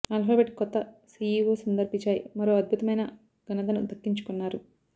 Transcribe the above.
Alphabet కొత్త CEO Sundar Pichai మరో అద్భుతమైన ఘనతను దక్కించుకున్నారు